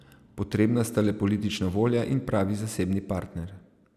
Potrebna sta le politična volja in pravi zasebni partner.